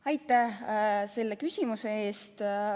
Aitäh selle küsimuse eest!